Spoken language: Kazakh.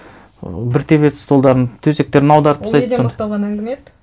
бір тебеді столдарын төсектерін аударып тастайды ол неден басталған әңгіме еді